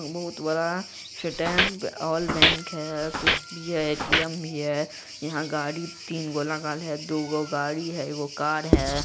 बहुत बड़ा stamp all bank है कुछ भी है ए.टी.एम. भी है। यहाँ गाड़ी तीन गो लगल है दुगो गाड़ी है एगो कार है।